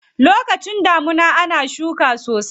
Lokacin damuna ana shuka sosai.